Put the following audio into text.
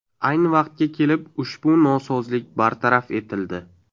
Ayni vaqtga kelib, ushbu nosozlik bartaraf etildi.